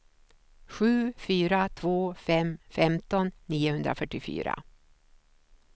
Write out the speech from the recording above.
sju fyra två fem femton niohundrafyrtiofyra